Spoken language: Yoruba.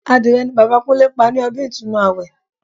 Adìrẹ ni Bàbá Kúnlé pa ní ọdún Ìtúnu àwẹ̀